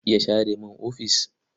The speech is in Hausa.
Za ki iya share mini ofis?